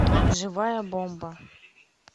живая бомба